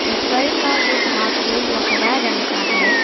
ऊपर का जो भाग है वो हरा रंग का है।